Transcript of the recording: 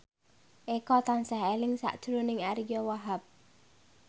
Eko tansah eling sakjroning Ariyo Wahab